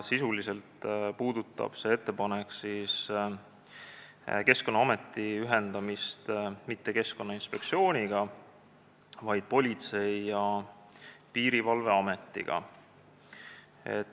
Sisuliselt puudutab see ettepanek Keskkonnaameti ühendamist mitte Keskkonnainspektsiooniga, vaid Politsei- ja Piirivalveametiga.